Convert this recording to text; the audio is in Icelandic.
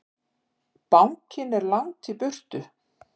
Bankinn er langt í burtu.